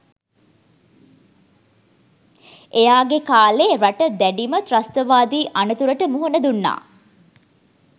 එයාගෙ කාලෙ රට දැඩිම ත්‍රස්තවාදී අනතුරට මුහුන දුන්නා